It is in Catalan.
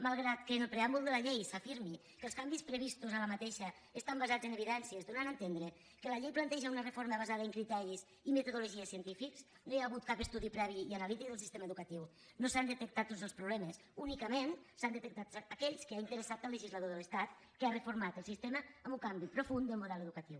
malgrat que en el preàmbul de la llei s’afirmi que els canvis previstos en aquesta estan basats en evidències i doni a entendre que la llei planteja una reforma basada en criteris i metodologies científics no hi ha hagut cap estudi previ i analític del sistema educatiu no s’han detectat tots els problemes únicament s’han detectat aquells que han interessat al legislador de l’estat que ha reformat el sistema amb un canvi profund del model educatiu